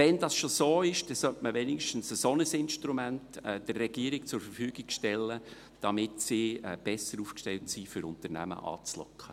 Wenn es schon so ist, sollte man der Regierung wenigstens ein solches Instrument zur Verfügung stellen, damit sie besser aufgestellt ist, um Unternehmen anzulocken.